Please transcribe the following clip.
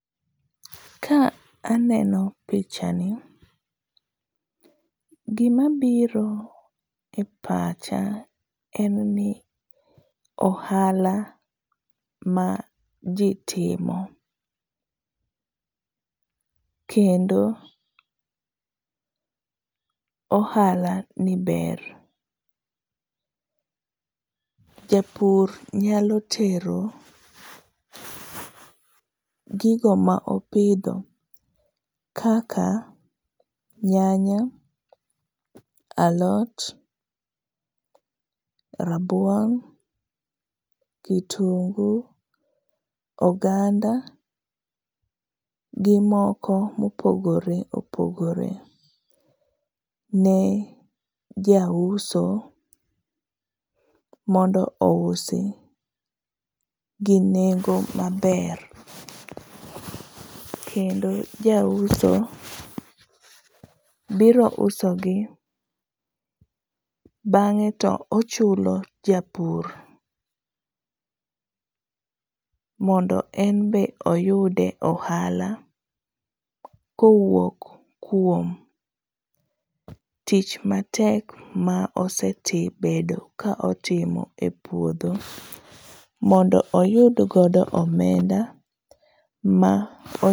Ka aneno [çs]picha ni gima biro e pacha en ni ohala maji timo kendo ohalani ber. Japur nyalo tero gigo ma opiodho kaka nyanya, alot, rabuon, kitungu, oganda gi moko mopogore opogore ne jauso mondo ousi gi nengo maber, kendo ja uso biro usogi bang'e to ochulo japur mondo en be oyudie ohala kowuok kuom tich matek ma osebedo ka otimo e puodho mondo oyudgo omenda ma